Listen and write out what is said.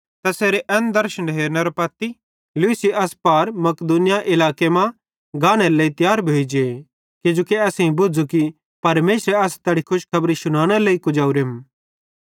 तैसेरे इस दर्शन हेरनेरां पत्ती लूशी अस पार मकिदुनिया इलाके मां गानेरे लेइ तियार भोइ जे किजोकि असेईं बुझ़ू कि परमेशरेरी असां तैड़ी खुशखबरी शुनानेरे लेइ कुजवरेम